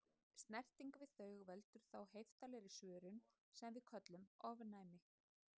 Snerting við þau veldur þá heiftarlegri svörun sem við köllum ofnæmi.